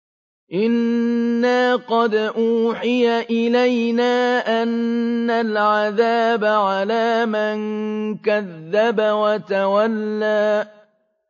إِنَّا قَدْ أُوحِيَ إِلَيْنَا أَنَّ الْعَذَابَ عَلَىٰ مَن كَذَّبَ وَتَوَلَّىٰ